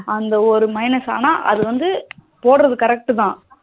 அந்த ஒரு minus ஆனா அது வந்து போடுறது correct த